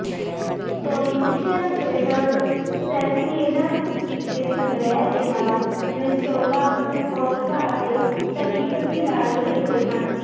solution filters ਸੈਲਸੀਏਨਸ ਦੇ ਸੰਗ੍ਰਹਿ ਦੇ ਨਾਲ ਵਿੰਸਟੋਲਾ ਵਿਸਕੌਸਸਾ ਅਤੇ ਸੈਫੀਫਸੀ ਨਾਲ ਜੁੜੇ ਹੋਏ ਹਨ